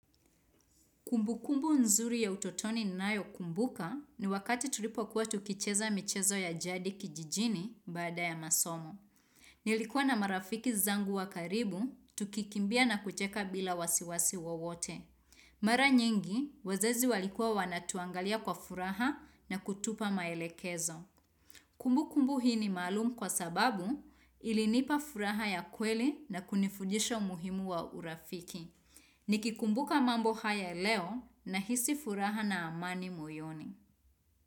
Kumbukumbu nzuri ya utotoni ninayokumbuka ni wakati tulipokuwa tukicheza michezo ya jadi kijijini baada ya masomo. Nilikuwa na marafiki zangu wa karibu, tukikimbia na kucheka bila wasiwasi wowote. Mara nyingi, wazazi walikuwa wanatuangalia kwa furaha na kutupa maelekezo. Kumbukumbu hii ni malumu kwa sababu ilinipa furaha ya kweli na kunifudisha umuhimu wa urafiki. Nikikumbuka mambo haya leo nahisi furaha na amani moyoni.